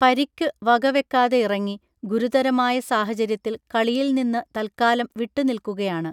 പരിക്കു വകവെക്കാതെയിറങ്ങി ഗുരുതരമായ സാഹചര്യത്തിൽ കളിയിൽ നിന്നു തൽക്കാലം വിട്ടുനിൽക്കുകയാണ്